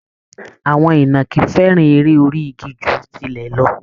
Àwọn ìnàkí fẹ́ràn eré orí igi ju tilẹ̀ lọ